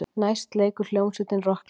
Næst leikur hljómsveitin rokklag.